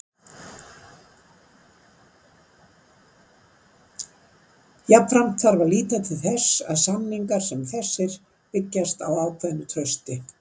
Jafnframt þarf að líta til þess að samningar sem þessir byggjast á ákveðnu trausti.